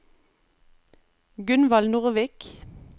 Gunvald Nordvik